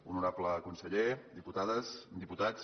honorable conseller diputades diputats